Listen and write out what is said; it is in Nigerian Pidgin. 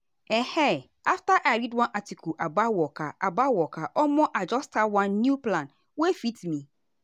ehn after i read one article about waka about waka omo i just start one new plan wey fit me.